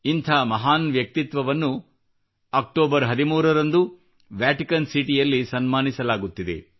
ಇಂಥ ಮಹಾನ್ ವ್ಯಕ್ತಿತ್ವವನ್ನು ಅಕ್ಟೋಬರ್ 13 ರಂದು ವ್ಯಾಟಿಕನ್ ಸಿಟಿಯಲ್ಲಿ ಸನ್ಮಾನಿಸಲಾಗುತ್ತಿದೆ